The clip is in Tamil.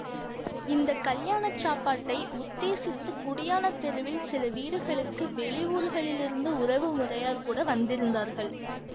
இந்த கல்யாண சாப்பாட்டை உத்தேசித்து குடியானத் தெருவில் சில வீடுகளுக்கு வெளி ஊர்களிலிருந்து உறவு முறையார் கூட வந்திருந்தார்கள்